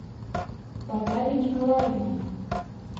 бадави николаевна